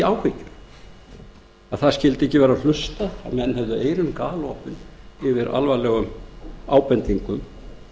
áhyggjur að ekki skyldi vera hlustað að menn hefðu ekki eyrun galopin yfir alvarlegum ábendingum